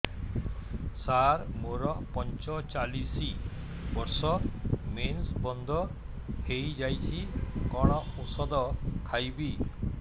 ସାର ମୋର ପଞ୍ଚଚାଳିଶି ବର୍ଷ ମେନ୍ସେସ ବନ୍ଦ ହେଇଯାଇଛି କଣ ଓଷଦ ଖାଇବି